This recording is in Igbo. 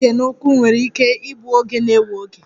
Ịga ije na ụkwụ nwere ike ịbụ oge na-ewe oge